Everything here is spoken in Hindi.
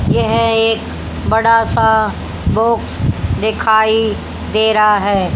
यह एक बड़ासा बॉक्स दिखाई दे रहा है।